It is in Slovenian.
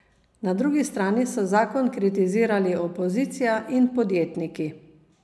Na drugi strani so zakon kritizirali opozicija in podjetniki.